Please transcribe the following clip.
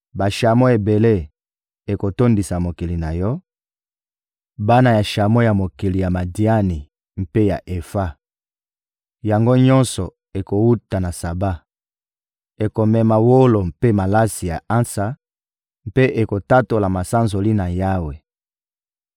Bashamo ebele ekotondisa mokili na yo, bana ya shamo ya mokili ya Madiani mpe ya Efa. Yango nyonso ekowuta na Saba, ekomema wolo mpe malasi ya ansa, mpe ekotatola masanzoli na Yawe.